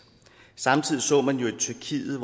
samtidig så man at tyrkiet